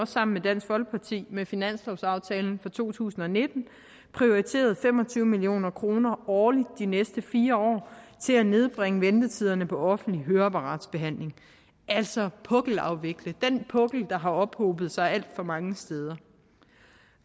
sammen med dansk folkeparti med finanslovsaftalen for to tusind og nitten prioriteret fem og tyve million kroner årligt de næste fire år til at nedbringe ventetiderne på offentlig høreapparatbehandling altså på at afvikle den pukkel der har ophobet sig alt for mange steder